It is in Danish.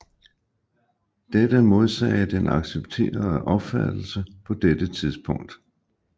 Dette modsagde den accepterede opfattelse på dette tidspunkt